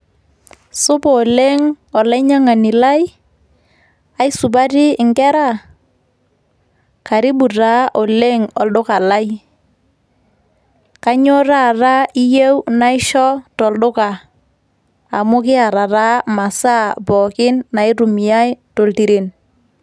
Supa oleng' olainyang'ani lai. Aisupati inkera? Karibu taa oleng' olduka lai. Kainyoo taata iyieu naishoo tolduka? Amu kiata taa masaa pookin naitumiai toltiren.